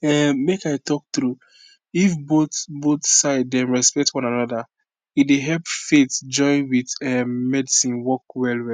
um make i talk true if both both side dem respect one anoda e dey help faithjoin with um medicine work well well